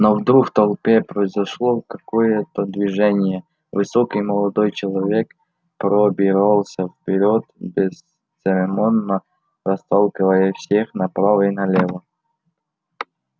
но вдруг в толпе произошло какое то движение высокий молодой человек пробирался вперёд бесцеремонно расталкивая всех направо и налево